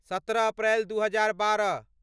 सत्रह अप्रैल दू हजार बारह